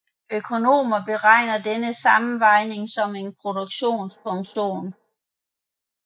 Økonomer beregner denne sammenvejning som en produktionsfunktion